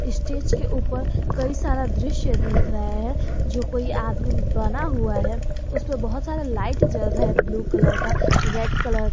Stage के ऊपर कई सारा दृश्य दिख रहा है जो कोई आदमी बना हुआ है उस पे बहुत सारा लाइट जल रहा है ब्लू कलर का रेड कलर का।